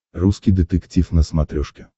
русский детектив на смотрешке